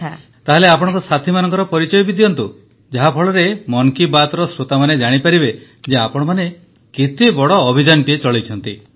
ପ୍ରଧାନମନ୍ତ୍ରୀ ତାହେଲେ ଆପଣଙ୍କ ସାଥୀମାନଙ୍କ ପରିଚୟ ଦିଅନ୍ତୁ ଯାହାଫଳରେ ମନ କି ବାତ୍ର ଶ୍ରୋତାମାନେ ଜାଣିପାରିବେ ଯେ ଆପଣମାନେ କେତେ ବଡ଼ ଅଭିଯାନଟିଏ ଚଳାଇଛନ୍ତି